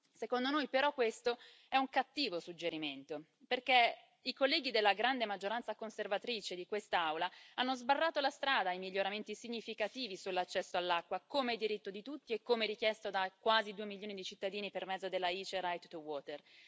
Secondo noi, però, si tratta di un cattivo suggerimento, perché i colleghi della grande maggioranza conservatrice di quest'Aula hanno sbarrato la strada ai miglioramenti significativi sull'accesso all'acqua come diritto di tutti e come richiesto da quasi due milioni di cittadini per mezzo dell'iniziativa dei cittadini europei Right2Water